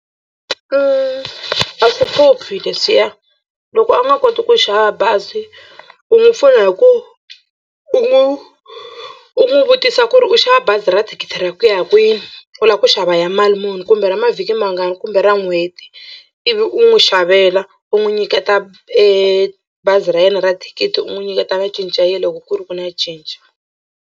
A swi hluphi leswiya loko a nga koti ku xava bazi u n'wu pfuna hi ku u n'wi u n'wi vutisa ku ri u xava bazi ra thikithi ra ku ya kwihi u lava ku xava ya mali muni kumbe ra mavhiki mangani kumbe ra n'hweti ivi u n'wi xavela u n'wi nyiketa bazi ra yena ra thikithi u n'wi nyiketa na cinci ya yena loko ku ri ku na cinci.